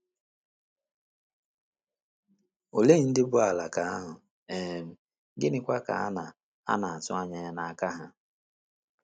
Olee ndị bụ́ “ alaka ” ahụ um, gịnịkwa ka a na - a na - atụ anya ya n’aka ha?